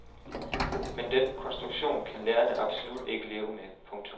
Men den konstruktion kan lærerne absolut ikke leve med. punktum